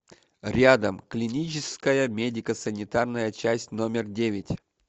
рядом клиническая медико санитарная часть номер девять